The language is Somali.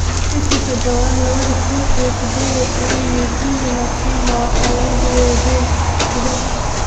Bishi sadadawad lawadhii kun iyo sided iyo towan Mwigulu Nachemba waxa lakadige wazir kudaxa.